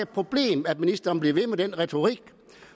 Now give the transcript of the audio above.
problem at ministeren bliver ved med den retorik